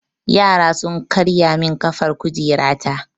Yara sun karya min ƙafar kujera ta.